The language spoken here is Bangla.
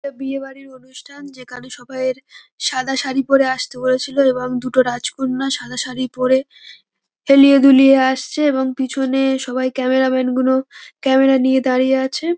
এ বিয়ে বাড়ির অনুষ্ঠান যেখানে সবাই -এর সাদা শাড়ি পরে আসতে বলেছিল এবং দুটো রাজকন্যা সাদা শাড়ি পরে হেলিয়ে দুলিয়ে আসছে এবং পিছনে সবাই ক্যামেরা ম্যান গুনো ক্যামেরা নিয়ে দাঁড়িয়ে আছে।